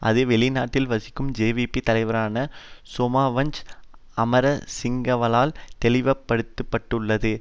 அது வெளிநாட்டில் வசிக்கும் ஜேவிபி தலைவரான சோமவன்ச அமரசிங்கவால் தெளிவுபடுத்தப்பட்டுள்ளது